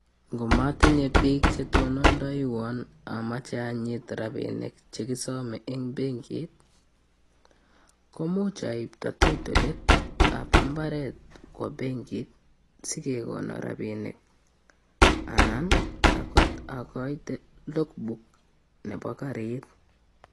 Ngomatinyeeee piik chetonondaiwaaa komuch awa akoi pengi ak akaite (logbook)nepo karit